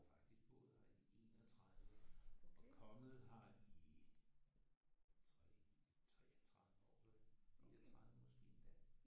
Jeg har faktisk boet her i 31 og kommet her i 3 33 år 34 måske endda